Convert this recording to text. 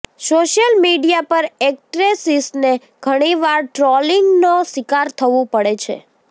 social media પર એક્ટ્રેસિસને ઘણી વાર ટ્રોલિંગનો શિકાર થવું પડે છે